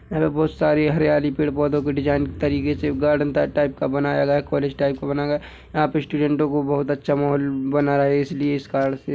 यहाँ बहुत सारी हरियाली पेड़ - पौधों के डिजाइन तरीके से गार्डन टा टाइप का बनाया गया है कॉलेज टाइप का बनाया गया है यहाँ पे स्टुडेन्टों को बहुत अच्छा माहौल बनाया है इसीलिए इस कारण से --